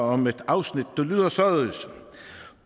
om et afsnit der lyder således